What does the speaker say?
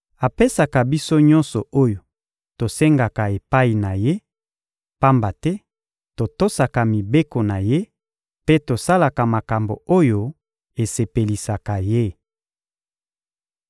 Apesaka biso nyonso oyo tosengaka epai na Ye, pamba te totosaka mibeko na Ye mpe tosalaka makambo oyo esepelisaka Ye.